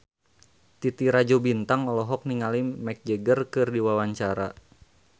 Titi Rajo Bintang olohok ningali Mick Jagger keur diwawancara